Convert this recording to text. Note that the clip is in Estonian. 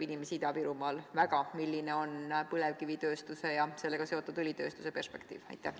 Inimesi Ida-Virumaal huvitab väga, milline on põlevkivitööstuse ja sellega seotud õlitööstuse perspektiiv?